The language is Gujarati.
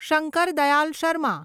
શંકર દયાલ શર્મા